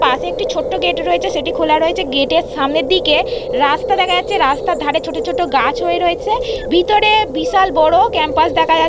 পাশে একটি ছোট্ট গেট রয়েছে সেটি খোলা রয়েছে গেটের সামনের দিকে রাস্তা দেখা যাচ্ছে রাস্তার ধারে ছোট ছোট গাছ হয়ে রয়েছে ভিতরে বিশাল বড় ক্যাম্পাস দেখা যাচ্--